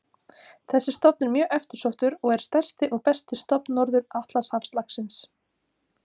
Þessi stofn er mjög eftirsóttur og er stærsti og besti stofn Norður-Atlantshafslaxins.